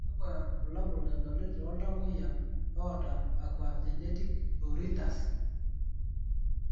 kakwa bulabol edoli tooltamoyiak oota aquagenic pruritus?>